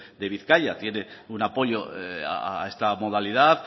de bizkaia tiene un apoyo a esta modalidad